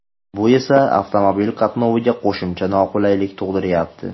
Bu esa avtomobil qatnoviga qo‘shimcha noqulaylik tug‘diryapti.